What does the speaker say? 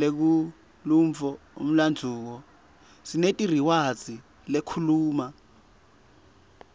lekhulumf umlanduo